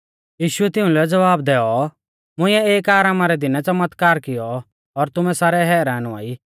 यीशुऐ तिउंलै ज़वाब दैऔ मुंइऐ एक आरामा रै दिनै च़मतकार किऔ और तुमै सारै हैरान हुआई